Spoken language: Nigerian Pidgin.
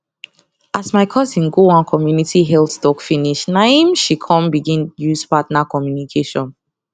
as my cousin go one community health talk finish na em she come begin use partner communication